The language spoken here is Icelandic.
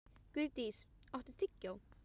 Guðdís, áttu tyggjó?